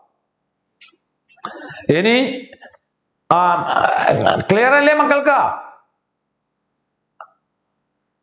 ഇനി ആഹ് ഏർ Clear അല്ലേ മക്കൾക്ക്